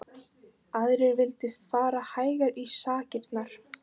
Aðrir vildu fara hægar í sakirnar.